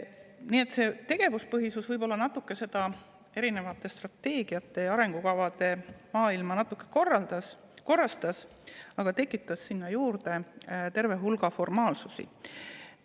Nii et see tegevuspõhisus võib-olla natuke seda strateegiate ja arengukavade maailma korrastas, aga samas tekitas sinna juurde terve hulga formaalsusi.